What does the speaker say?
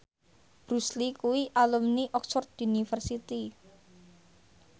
Bruce Lee kuwi alumni Oxford university